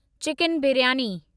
chicken biryani